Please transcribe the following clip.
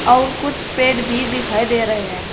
और कुछ पेड़ भी दिखाई दे रहे हैं।